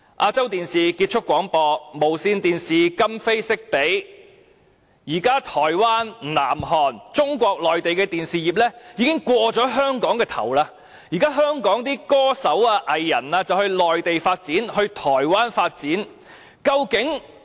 亞洲電視有限公司結業，無綫電視則今非昔比，現時台灣、南韓和中國內地的電視業已超越了香港，香港歌手和藝人要到內地、台灣發展。